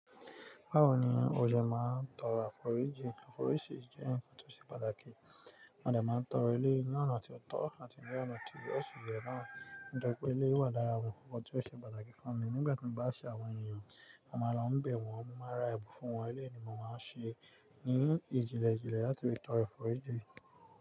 Báwo ni o ṣe máa ń tọrọ àforíjì? Àforíjì jẹ́ ǹkan tó ṣe pàtàkì. Mo de máa ń tọrọ ní ọ̀nà tí ó tọ́ àti ní ọ̀nà tí ó sì yẹ náà. Nipa pé eleyii wà lára àwọn ohun nkan tí ó ṣe pàtàkì fún mi nígbà tí mo bá ṣe àwọn ènìyàn, mo máa ń bẹ̀ wọ́n, mo máa ra ẹ̀bùn fún wọn, eleyii ni mo máa ń ṣe ní ìjìnlẹ̀ jìnlẹ̀ láti le tọrọ àforíjì.